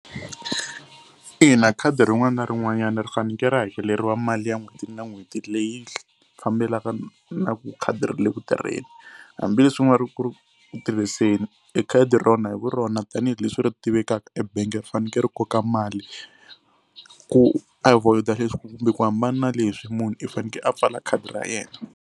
Ina khadi rin'wana na rin'wanyana ri faneke ri hakeleriwa mali ya n'hweti na n'hweti leyi fambelaka na ku khadi ri le ku tirheni hambileswi u nga ri ku ri ku tirhiseni e khadi rona hi vu rona tanihileswi ri tivekaka ebangi ri faneke ri koka mali. Ku avoid-a leswi kumbe ku hambana leswi munhu i fanekele a pfala khadi ra yena.